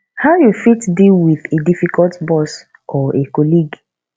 how you fit deal with a difficult boss or a colleague